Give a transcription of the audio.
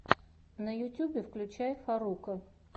на ютьюбе включай фарруко